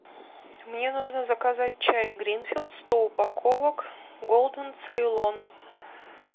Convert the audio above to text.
мне нужно заказать чай гринфилд сто упаковок голден цейлон